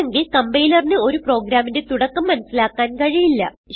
അല്ലെങ്കിൽ കംപൈലറിന് ഒരു പ്രോഗ്രാമിന്റെ തുടക്കം മനസിലാക്കാൻ കഴിയില്ല